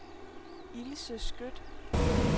Ilse Skøtt